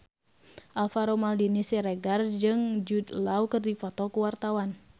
Alvaro Maldini Siregar jeung Jude Law keur dipoto ku wartawan